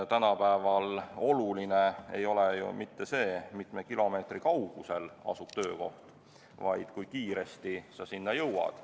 Tänapäeval ei ole oluline ju mitte see, mitme kilomeetri kaugusel asub töökoht, vaid kui kiiresti sa sinna jõuad.